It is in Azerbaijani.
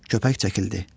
Köpək çəkildi.